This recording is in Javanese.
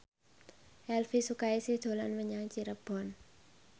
Elvi Sukaesih dolan menyang Cirebon